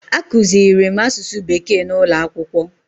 A kụziirim asụsụ bekee n'ụlọ akwụkwọ